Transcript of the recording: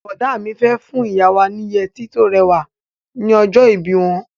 Bọ̀dá mi fẹ́ fún ìyá wa ni yẹtí tó rẹwà ní ọjọ́ ìbí wọn.